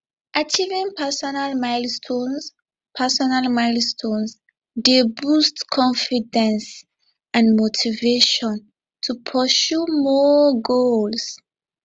achieving personal milestones personal milestones dey boost confidence and motivation to pursue more goals